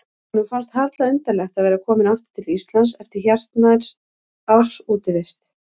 Honum fannst harla undarlegt að vera kominn aftur til Íslands eftir hartnær árs útivist.